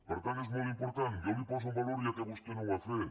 per tant és molt important jo li ho poso en valor ja que vostè no ho ha fet